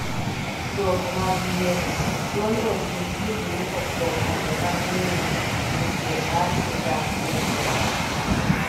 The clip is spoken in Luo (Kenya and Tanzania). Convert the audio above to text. dwoko mag yiero :duond od buch jubilee okwo kombe mag lewni e piem mar Sigand Piny Kenya